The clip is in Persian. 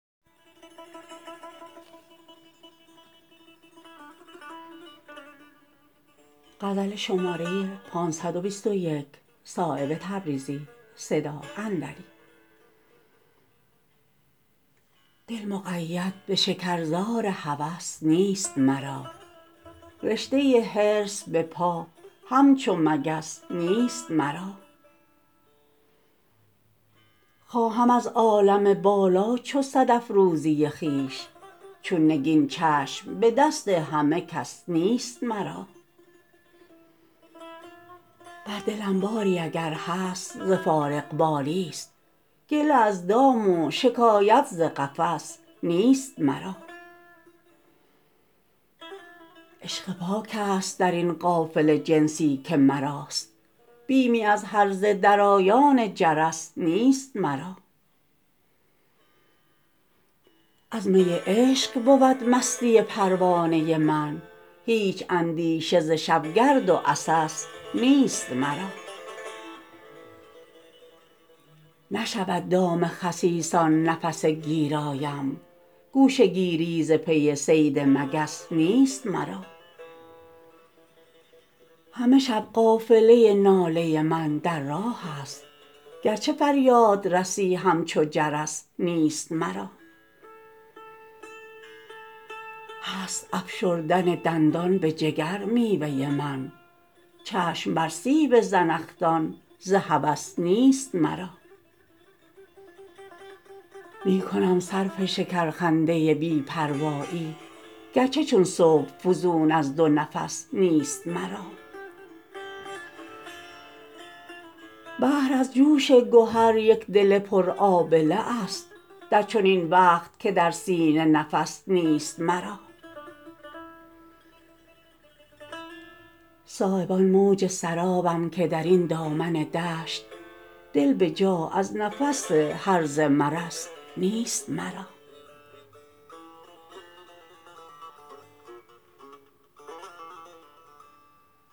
دل مقید به شکرزار هوس نیست مرا رشته حرص به پا همچو مگس نیست مرا خواهم از عالم بالا چو صدف روزی خویش چون نگین چشم به دست همه کس نیست مرا بر دلم باری اگر هست ز فارغبالی است گله از دام و شکایت ز قفس نیست مرا عشق پاک است درین قافله جنسی که مراست بیمی از هرزه درایان جرس نیست مرا از می عشق بود مستی پروانه من هیچ اندیشه ز شبگرد و عسس نیست مرا نشود دام خسیسان نفس گیرایم گوشه گیری ز پی صید مگس نیست مرا همه شب قافله ناله من در راه است گرچه فریادرسی همچو جرس نیست مرا هست افشردن دندان به جگر میوه من چشم بر سیب زنخدان ز هوس نیست مرا می کنم صرف شکرخنده بی پروایی گرچه چون صبح فزون از دو نفس نیست مرا بحر از جوش گهر یک دل پر آبله است در چنین وقت که در سینه نفس نیست مرا صایب آن موج سرابم که درین دامن دشت دل به جا از نفس هرزه مرس نیست مرا